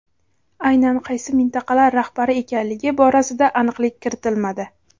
Aynan qaysi mintaqalar rahbari ekanligi borasida aniqlik kiritmadi.